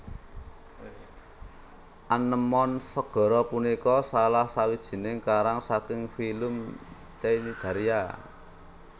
Anémon segara punika salah sawijining karang saking filum Cnidaria